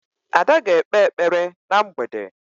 Ada ga-ekpe ekpere na mgbede.